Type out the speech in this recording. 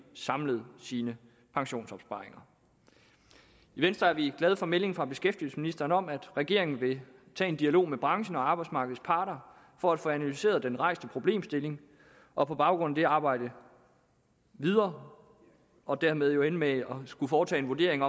samlet sine pensionsopsparinger i venstre er vi glade for meldingen fra beskæftigelsesministeren om at regeringen vil tage en dialog med branchen og arbejdsmarkedets parter for at få analyseret den rejste problemstilling og på baggrund af det arbejde videre og dermed jo ende med at skulle foretage en vurdering